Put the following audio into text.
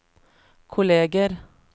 kolleger